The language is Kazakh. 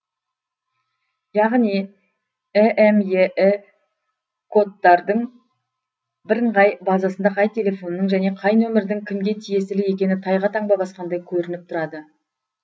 яғни імеі кодтардың бірыңғай базасында қай телефонның және қай нөмірдің кімге тиесілі екені тайға таңба басқандай көрініп тұрады